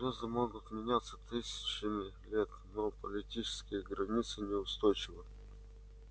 звезды могут не меняться тысячами лет но политические границы неустойчивы